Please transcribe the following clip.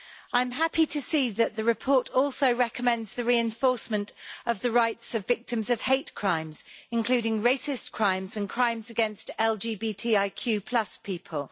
I am happy to see that the report also recommends the reinforcement of the rights of victims of hate crimes, including racist crimes and crimes against LGBTIQ people.